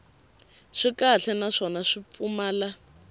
swi kahle naswona swi pfumala